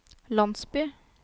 landsby